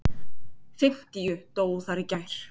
Fimmtíu dóu þar í gær.